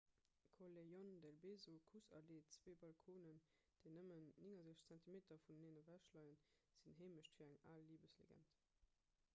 callejon del beso kuss-allee. zwee balconen déi nëmmen 69 zentimeter vuneneen ewech leien sinn heemecht fir eng al libeslegend